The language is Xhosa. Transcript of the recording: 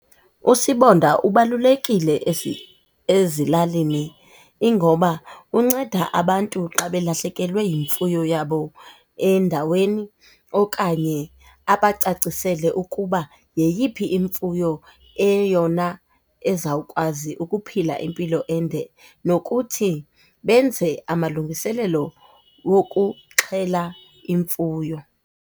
Usibonda ubalulekile ezilalini. Ingoba unceda abantu xa belahlekelwe yimfuyo yabo endaweni okanye abacacisele ukuba yeyiphi imfuyo eyeyona ezawukwazi ukuphila impilo ende nokuthi benze amalungiselelo wokuxhela imfuyo.